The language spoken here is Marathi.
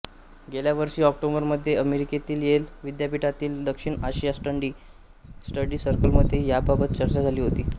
गेल्या वर्षी ऑक्टोबरमध्ये अमेरिकेतील येल विद्यापीठातील दक्षिण आशिया स्टडी सर्कलमध्ये याबाबत चर्चा झाली होती